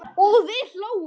og við hlógum.